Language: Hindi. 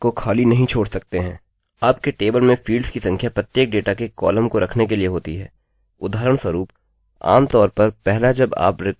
आपके टेबल में फील्ड्स की संख्या प्रत्येक डेटा के कॉलम को रखने के लिए होती है